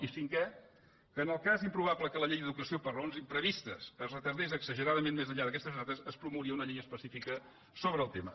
i cinquè que en el cas improbable que la llei d’educa·ció per raons imprevistes es retardés exageradament més enllà d’aquestes dates es promouria una llei espe·cífica sobre el tema